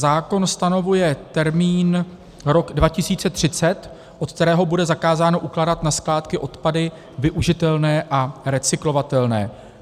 Zákon stanovuje termín rok 2030, od kterého bude zakázáno ukládat na skládky odpady využitelné a recyklovatelné.